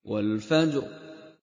وَالْفَجْرِ